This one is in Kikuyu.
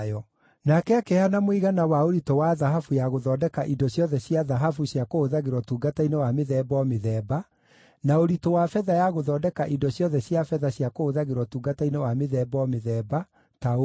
Nake akĩheana mũigana wa ũritũ wa thahabu ya gũthondeka indo ciothe cia thahabu cia kũhũthagĩrwo ũtungata-inĩ wa mĩthemba o mĩthemba, na ũritũ wa betha ya gũthondeka indo ciothe cia betha cia kũhũthagĩrwo ũtungata-inĩ wa mĩthemba o mĩthemba, ta ũũ: